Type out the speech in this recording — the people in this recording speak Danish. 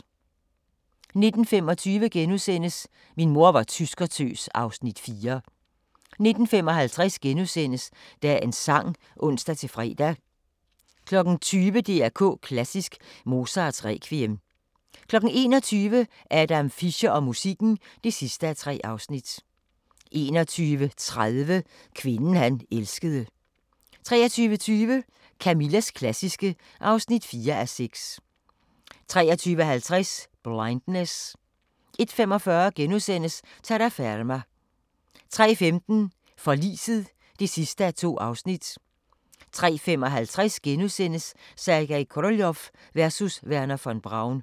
19:25: Min mor var tyskertøs (Afs. 4)* 19:55: Dagens Sang *(ons-fre) 20:00: DR K Klassisk: Mozarts Requiem 21:00: Adam Fischer og musikken (3:3) 21:30: Kvinden han elskede 23:20: Camillas klassiske (4:6) 23:50: Blindness 01:45: Terraferma * 03:15: Forliset (2:2) 03:55: Sergej Koroljov versus Wernher von Braun *